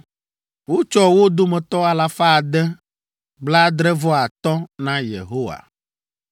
wotsɔ wo dome alafa ade, blaadre-vɔ-atɔ̃ (675) na Yehowa;